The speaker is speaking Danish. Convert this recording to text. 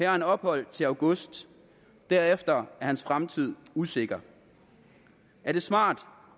har han ophold indtil august og derefter er hans fremtid usikker er det smart